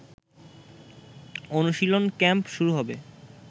অনুশীলন ক্যাম্প শুরু হবে